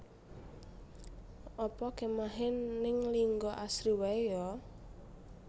Apa kemahe ning Linggo Asri wae yo